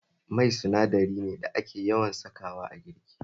Mai sinadari ne da ake yawan sakawa a girki